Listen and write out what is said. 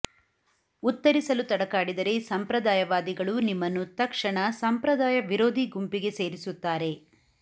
ಉತ್ತರಿಸಲು ತಡಕಾಡಿದರೆ ಸಂಪ್ರದಾಯವಾದಿಗಳು ನಿಮ್ಮನ್ನು ತತ್ಕ್ಷಣ ಸಂಪ್ರದಾಯ ವಿರೋಧಿ ಗುಂಪಿಗೆ ಸೇರಿಸುತ್ತಾರೆ